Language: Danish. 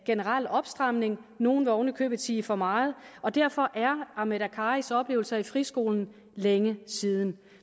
generel opstramning nogle vil ovenikøbet sige for meget og derfor er ahmed akkaris oplevelser i friskolen længe siden